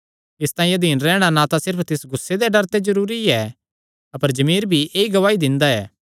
इसतांई अधीन रैहणा ना सिर्फ तिस गुस्से दे डर ते जरूरी ऐ अपर जमीर भी ऐई गवाही दिंदा ऐ